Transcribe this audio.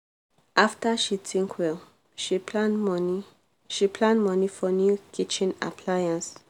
after she think well she plan money she plan money for new kitchen appliance.